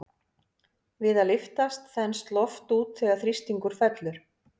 Við að lyftast þenst loft út þegar þrýstingur fellur.